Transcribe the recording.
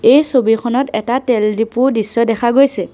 এই ছবিখনত এটা তেল ডিপু দৃশ্য দেখা গৈছে।